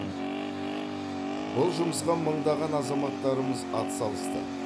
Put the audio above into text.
бұл жұмысқа мыңдаған азаматтарымыз атсалысты